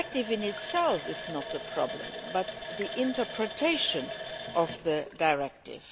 The directive in itself is not the problem, but rather the interpretation of the directive.